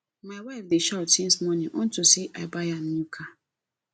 my wife dey shout since morning unto say i buy am new car